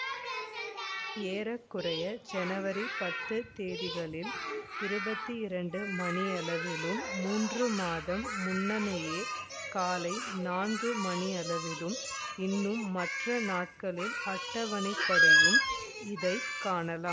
ஏற குறைய ஜனவரி பத்து தேதிகளில் இருபத்தி இரண்டு மணியளவிலும் மூன்று மாதம் முன்னமேயே காலை நான்கு மணியளவிலும் இன்னும் மற்ற நாட்களில் அட்டவணைப்படயும் இதை காணலாம்